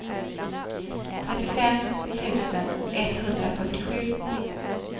trettiofem tusen etthundrafyrtiosju